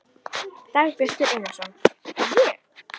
Dagbjartur Einarsson: Ég?